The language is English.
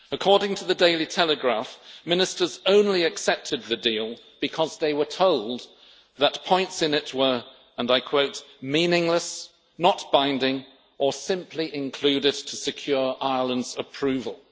According to the Daily Telegraph ministers only accepted the deal because they were told that points in it were meaningless, not binding or simply included to secure Ireland's approval'.